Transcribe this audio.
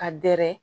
Ka dɛrɛ